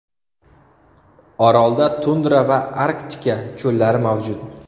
Orolda tundra va arktika cho‘llari mavjud.